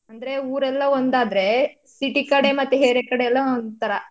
ಅಂದ್ರೆ ಊರೆಲ್ಲ ಒಂದಾದ್ರೆ city ಕಡೆ ಮತ್ತೆ area ಕಡೆ ಎಲ್ಲ ಒಂತರ.